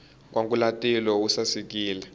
nkwangulatilo wu sasekile